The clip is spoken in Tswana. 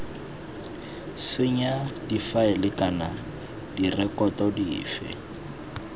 senya difaele kana direkoto dife